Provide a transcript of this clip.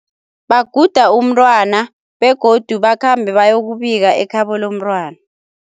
Baguda umntwana begodu bakhambe bayokubika ekhabo lomntwana.